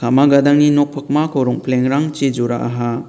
gadangni nok pakmako rongpilengrangchi jora·aha.